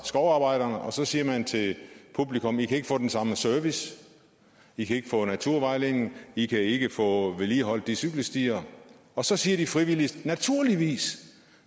skovarbejderne og så siger man til publikum i kan ikke få den samme service i kan ikke få naturvejledning i kan ikke få vedligeholdt de cykelstier og så siger de frivillige naturligvis